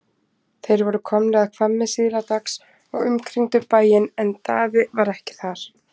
Þeir voru komnir að Hvammi síðla dags og umkringdu bæinn en Daði var ekki þar.